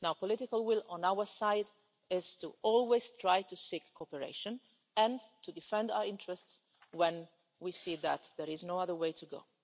The political will on our side is always to try to seek cooperation, and to defend our interests when we see that there is no other way to go.